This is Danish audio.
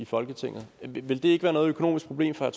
folketingsmedlem ville det ikke være noget økonomisk problem for